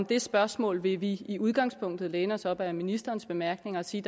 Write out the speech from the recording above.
det spørgsmål vil vi i udgangspunktet læne os op ad ministerens bemærkninger og sige